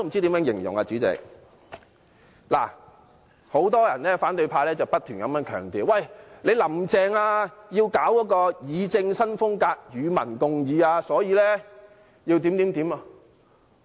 代理主席，很多反對派不停強調，"林鄭"要搞議政新風格，與民共議，所以要怎樣怎樣。